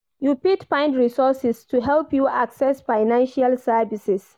You fit find resources to help you access financial services.